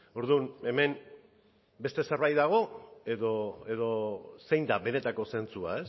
orduan hemen beste zerbait dago edo zein da benetako zentzua